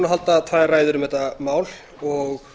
halda tvær ræður um þetta mál og að